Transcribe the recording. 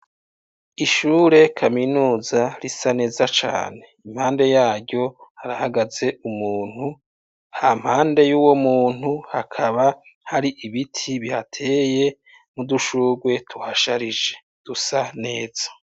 Ishure kaminuza risa neza cane. Impande yaryo harahagaze umuntu, hampande y'uwo muntu hakaba hari ibiti bihateye mu dushurrwe tuhasharije dusa neza.